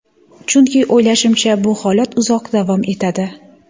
Chunki, o‘ylashimcha, bu holat uzoq davom etadi.